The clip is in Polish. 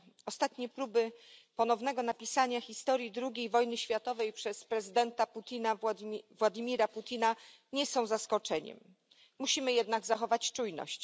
Ostatnie próby ponownego napisania historii drugiej wojny światowej przez prezydenta Władimira Putina nie są zaskoczeniem. Musimy jednak zachować czujność.